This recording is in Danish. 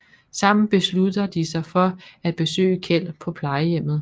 Sammen beslutter de sig for at besøge Kjeld på plejehjemmet